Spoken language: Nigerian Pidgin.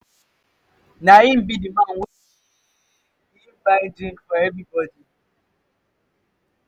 na him be the man wey i tell you say he buy drink for everybody.